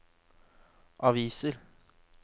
aviser